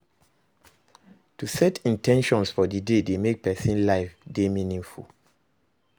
To set in ten tions for di day dey make persin life de meaningful